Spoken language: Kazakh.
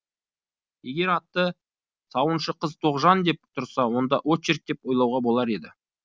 егер аты сауыншы қыз тоғжан деп тұрса онда очерк деп ойлауға болар еді